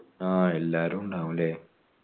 ആ എല്ലാവരുമുണ്ടാവുഅല്ലേ